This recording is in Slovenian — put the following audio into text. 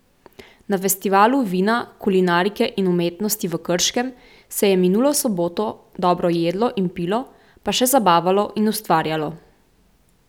Na Festivalu vina, kulinarike in umetnosti v Krškem se je minulo soboto dobro jedlo in pilo pa še zabavalo in ustvarjalo.